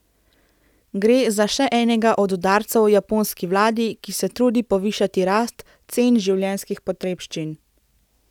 Gre za še enega od udarcev japonski vladi, ki se trudi povišati rast cen življenjskih potrebščin.